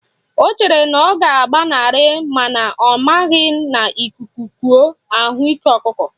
Ọ chere na ọ ga-agbanarị mana ọ maghị na ikuku kuo, ahụ ike ọkụkọ